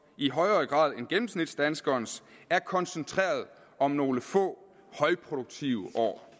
i højere grad end gennemsnitsdanskerens er koncentreret om nogle få højproduktive år